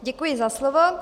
Děkuji za slovo.